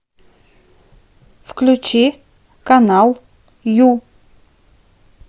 включи канал ю